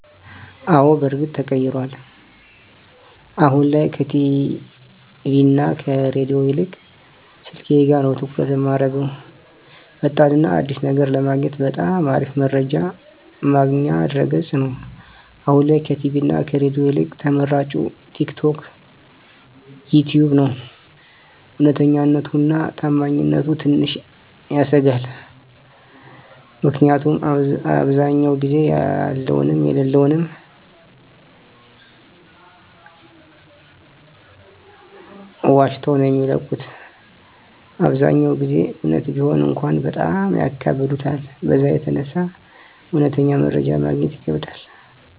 አወ በርግጥ ተቀይሯል አሁን ላይ ከቲቪ እና ከሬዲዮ ይልቅ ስልኬ ጋ ነዉ ትኩረት እማረገዉ። ፈጣን እና አዲስ ነገር ለማግኘት በጣም አሪፍ መረጃ ማግኛ ድረገፅ ነዉ፣ አሁን ላይ ከቲቪ እና ከሬዲዮ ይልቅ ተመራጭ ቲክቶክ፣ ዩተዩብ ነዉ። እዉነተኛነቱ እና ታማኝነቱ ትንሽ ያሰጋል ምክኒያቱም አብዛዉ ጊዜ ያለዉንም የለለዉንም ዋሽተዉ ነዉ የሚለቁት አብዛኛዉን ጊዜ እዉነት ቢሆን እንኳን በጣም ያካብዱታል በዛ የተነሳ እዉነተኛ መረጃ ማግኘት ይከብዳል።